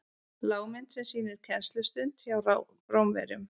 lágmynd sem sýnir kennslustund hjá rómverjum